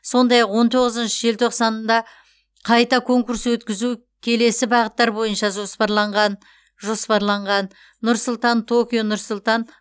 сондай ақ он тоғызыншы желтоқсанында қайта конкурс өткізу келесі бағыттар бойынша жоспарланғанжоспарланған нұр сұлтан токио нұр сұлтан